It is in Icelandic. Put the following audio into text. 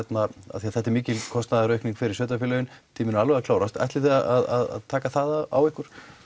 af því þetta er mikil kostnaðaraukning fyrir sveitarfélögin tíminn er alveg að klárast en ætlið þið að taka það á ykkur